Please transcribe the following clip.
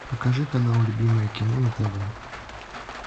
покажи канал любимое кино на тв